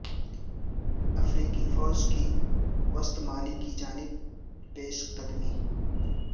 افریقی فوج کی وسط مالی کی جانب پیش قدمی